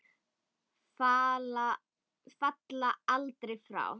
Falla aldrei frá.